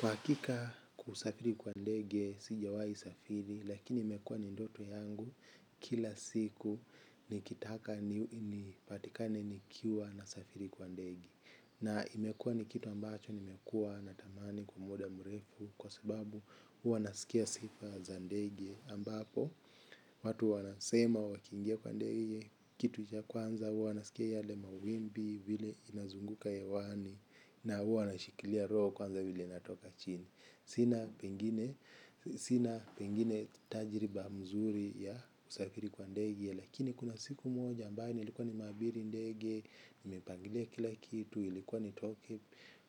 Kwa hakika kusafiri kwa ndege, sijawai safiri, lakini imekua ni ndoto yangu kila siku nikitaka nipatikane nikiwa nasafiri kwa ndege. Na imekua ni kitu ambacho nimekua natamani kwa muda mrefu kwa sababu huwa nasikia sifa za ndege ambapo. Watu wanasema wakiingia kwa ndege kitu cha kwanza wanasikia yale mawimbi vile inazunguka hewani na huwa wanashikilia roho kwanza vile inatoka chini. Sina pengine tajiriba mzuri ya usafiri kwa ndege lakini kuna siku moja ambaye nilikuwa nimeabiri ndege, nipangile kila kitu, ilikuwa nitoke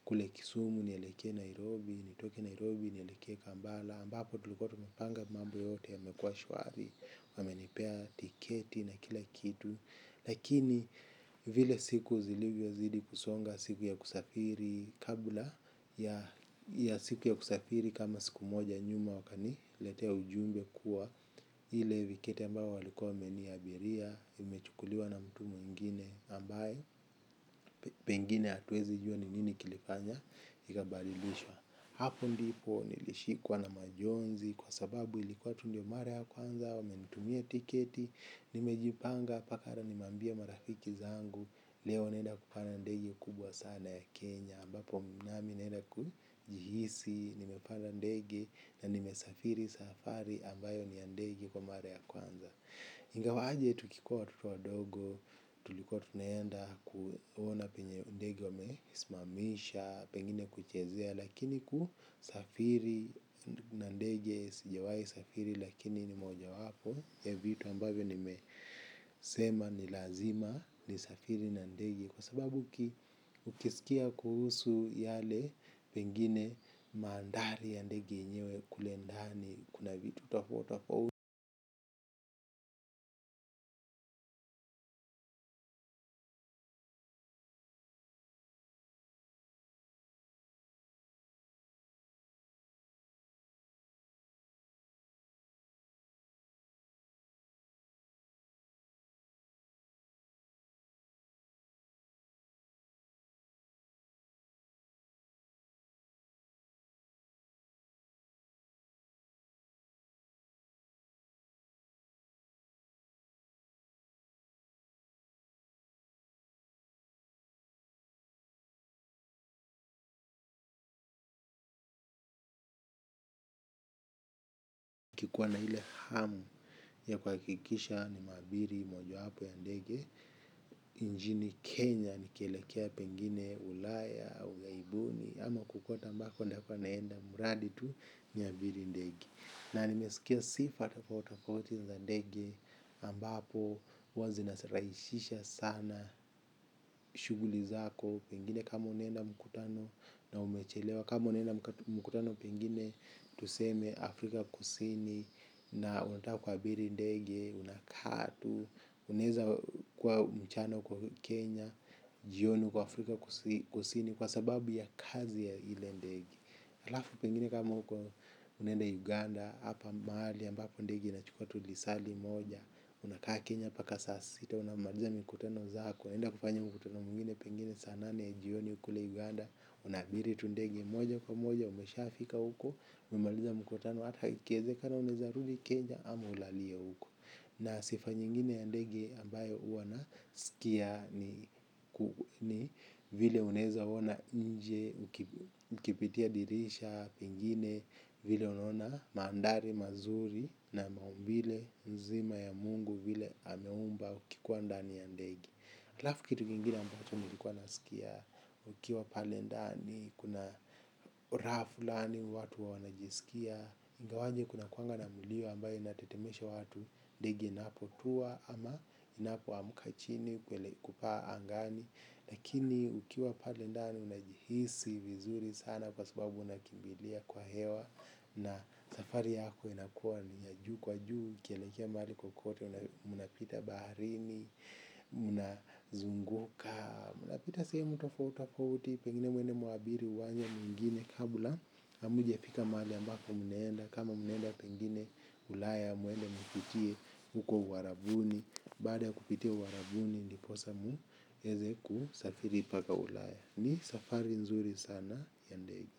kule kisumu nielekee Nairobi, nitoke Nairobi nieleke kambala, ambapo tulikua tumepanga mambo yote yamekua shwari wamenipea tiketi na kila kitu lakini vile siku zilivyozidi kusonga siku ya kusafiri kabula ya siku ya kusafiri kama siku moja nyuma wakaniletea ujumbe kuwa hile viketi ambayo walikua wameniabiria imechukuliwa na mtu mwengine ambaye pengine atuezi jua ni nini kilifanya ikabarilishwa. Hapo ndipo nilishikwa na majonzi kwa sababu ilikuwa tu ndio mara ya kwanza wamenitumia tiketi, nimejipanga paka hara nimeambia marafiki zangu, leo naenda kupanda ndege kubwa sana ya Kenya, ambapo nami naenda kujihisi, nimepanda ndege na nimesafiri safari ambayo ni ya ndege kwa mara ya kwanza. Ingawa aje tukikua watoto wadogo, tulikua tunaenda kuona penye ndege wamesmamisha, pengine kuchezea, lakini kusafiri na ndege, sijawai safiri lakini ni mojawapo ya vitu ambavyo nimesema ni lazima nisafiri na ndege. Kwa sababu ukisikia kuhusu yale pengine maandhari ya ndege yenyewe kule nd ni kuna vitu tafotafot kuwa na ile hamu ya kuhakikisha nimeabiri mojowapo ya ndege Injini Kenya nikielekea pengine ulaya au ghaibuni ama kokote ambako ndakwa naenda muradi tu niylabiri ndege. Na nimesikia sifa tafautitofauti za ndege ambapo huwa zinasaraishisha sana shughuli zako pengine kama unaenda mkutano na umechelewa kama unaenda mkutano pengine tuseme Afrika kusini na unataka kuabiri ndege unakaa tu unaeza kwa mchano kwa Kenya jioni uko Afrika kusini kwa sababu ya kazi ya ile ndege alafu pengine kama unaenda Uganda hapa mahali ambapo ndege inachukua tu lisaa limoja. Unakaa kenya mpaka saa sita unamaliza mikutano zako unaenda kufanya mkutano mwingine pengine saa nane jioni kule Uganda. Unaabiri tu ndege moja kwa moja umeshafika huko. Mmaliza mkutano hata ikiwezekana unaeza rudi kenya ama ulalie huko. Na sifa nyingine ya ndege ambayo hua nasikia ni vile unaeza ona nje. Ukipitia dirisha pengine vile unaona mandhari mazuri na maumbile nzima ya Mungu vile ameumba ukikuwa ndani ya ndege halafu kitu kingine ambacho nilikuwa nasikia. Ukiwa pale ndani kuna raha fulani watu huwa wanajisikia ingawaje kunakuanga na mulio ambayo natetemesha watu. Dege inapotuwa ama inapoamka chini kupaa angani. Lakini ukiwa pale ndani unajihisi vizuri sana kwa sababu unakimbilia kwa hewa. Na safari yako inakua ni ya juu kwa juu kielekea mahali kokote unapita baharini. Unazunguka. Unapita sehemu tofautitofauti pengine mwende muabiri uwanye mwingine kabula amujafika maali ambapo munaenda kama munaenda pengine ulaya mwende mpitie huko uarabuni. Baada ya kupitia uarabuni ndiposa mu eze kusafiri mpaka Ulaya. Ni safari nzuri sana ya ndege.